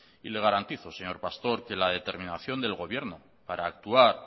y le garantizo señor pastor que la determinación del gobierno para actuar